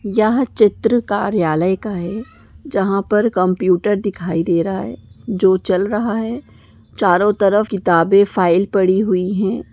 याहा चित्र कार्यालय का है जहाँ पर कॉम्पुटर दिखाई दे राहा है जो चल रहा है चारो तरफ किताबे फाइल पडी हुई है।